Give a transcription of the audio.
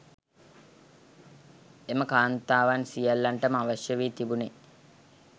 එම කාන්තාවන් සියල්ලන්ටම අවශ්‍ය වී තිබුණේ